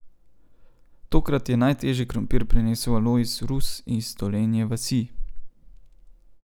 Tokrat je najtežji krompir prinesel Alojz Rus iz Dolenje vasi.